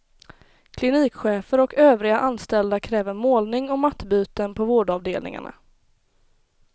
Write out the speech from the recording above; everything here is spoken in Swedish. Klinikchefer och övriga anställda kräver målning och mattbyten på vårdavdelningarna.